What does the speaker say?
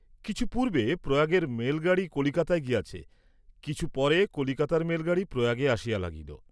কিছু পূর্ব্বে প্রয়াগের মেলগাড়ী কলিকাতায় গিয়াছে, কিছু পরে কলিকাতার মেলগাড়ী প্রয়াগে আসিয়া লাগিল।